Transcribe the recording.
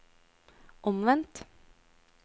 omvendt